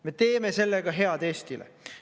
Me teeme sellega head Eestile.